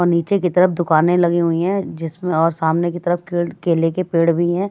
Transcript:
और नीचे तरफ दुकानें लगी हुई है जिसमें और सामने की तरफ के केले के पेड़ भी है।